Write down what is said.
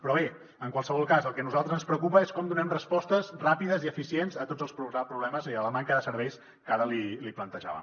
però bé en qualsevol cas el que a nosaltres ens preocupa és com donem respostes ràpides i eficients a tots els problemes i a la manca de serveis que ara li plantejava